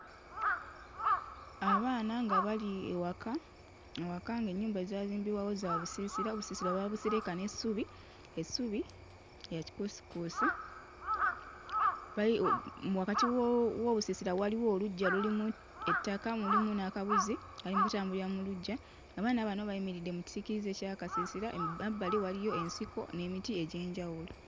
Abaana nga bali ewaka. Ewaka ng'ennyumba ezaazimbibwawo za busiisira, obusiisira baabusereka n'essubi. Essubi lya kikuusikuusi bayi oh mm wakati wo w'obusiisira waliwo oluggya lulimu ettaka mulimu n'akabuzi kali mu kutambulira mu luggya. Abaana bano bayimiridde mu kisiikirize ky'akasiirira emaabbali waliyo ensiko n'emiti egy'enjawulo.